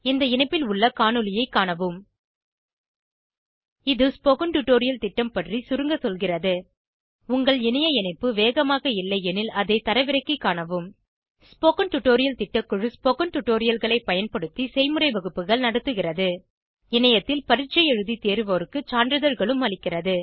இந்த இணைப்பில் உள்ள காணொளியைக் காணவும் இது ஸ்போகன் டுடோரியல் திட்டம் பற்றி சுருங்க சொல்கிறது உங்கள் இணைய இணைப்பு வேகமாக இல்லையெனில் அதை தரவிறக்கிக் காணவும் ஸ்போகன் டுடோரியல் திட்டக்குழு ஸ்போகன் டுடோரியல்களைப் பயன்படுத்தி செய்முறை வகுப்புகள் நடத்துகிறது இணையத்தில் பரீட்சை எழுதி தேர்வோருக்கு சான்றிதழ்களும் அளிக்கிறது